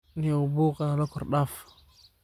Nio buuqa nalakordaaf.